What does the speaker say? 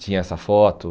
Tinha essa foto.